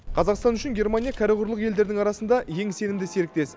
қазақстан үшін германия кәрі құрлық елдерінің арасында ең сенімді серіктес